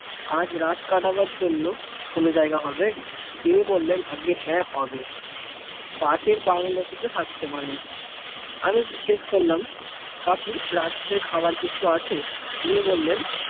আজ রাত কাটাবার জন্য কোন জায়গা হবে? তিনি বললেন আজ্ঞে হ্যাঁ হবে পাশের ঘরটিতে থাকতে পারেন আমি জিজ্ঞেস করলাম কাকু, রাত্রে খাবার কিছু আছে? তিনি বললেন